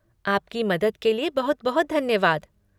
आपकी मदद के लिए बहुत बहुत धन्यवाद।